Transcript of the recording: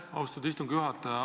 Aitäh, austatud istungi juhataja!